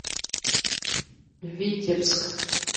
витебск